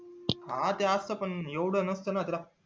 हा ते असत पण येवढं नसत ना